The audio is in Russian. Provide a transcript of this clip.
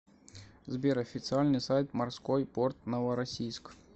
сбер официальный сайт морской порт новороссийск